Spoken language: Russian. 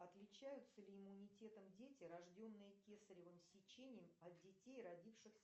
отличаются ли иммунитетом дети рожденные кесаревым сечением от детей родившихся